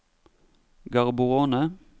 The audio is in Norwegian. Gaborone